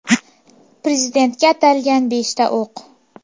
Prezidentga atalgan beshta o‘q.